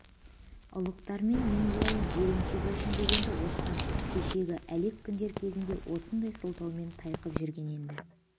ұлықтармен мен болайын жиренше болсын деген-ді оспан кешегі әлек күндер кезінде осындай сылтаумен тайқып жүрген енді